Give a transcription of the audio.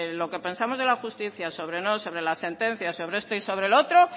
lo que pensamos de la justicia sobre la sentencia sobre esto y sobre lo otro